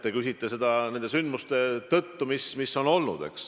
Te küsite seda nende sündmuste tõttu, mis on olnud.